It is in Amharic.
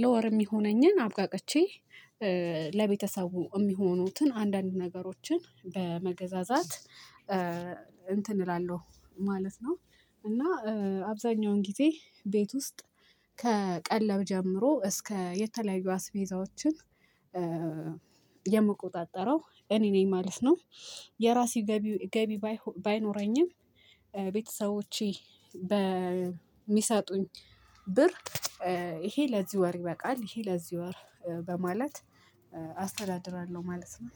ለወር የሚሆነኝን አብቃቅቼ ለቤተሰቡ የሚሆኑትን አንዳንድ ነገሮችን በመገዛዛት እንትን እላለሁ ማለት ነው። እና አብዛኛውን ጊዜ ቤት ውስጥ ከቀለብ ጀምሮ እስከ የተለያዩ አስቤዛዎችን የምቆጣጠረው እኔ ነኝ ማለት ነው። የራሴ ገቢ ገቢ ባይኖረኝም ቤተሰቦቼ በሚሰጡኝ ብር ይሄ ለዚህ ወር ይበቃል ይሄ ለዚህ ወር በማለት አስተዳድራለሁ ማለት ነው